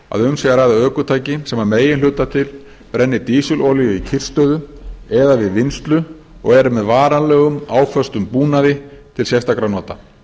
að um sé að ræða ökutæki sem að meginhluta til brenni dísilolíu í kyrrstöðu eða við vinnslu og er með varanlegum áföstum búnaði til sérstakra nota